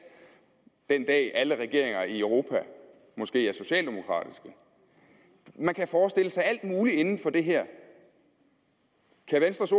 den dag alle regeringer i europa måske er socialdemokratiske man kan forestille sig alt muligt inden for det her kan venstres